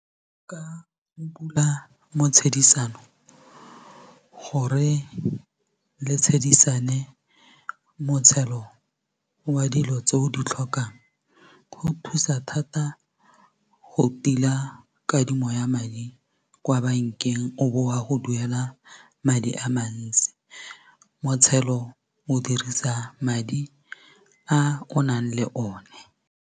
Bula motshedisano gore le tshedisane motshelo wa dilo tse o di tlhokang go thusa thata go tila kadimo ya madi kwa bankeng o be wa go duela madi a mantsi motshelo o dirisa madi a o nang le o ne.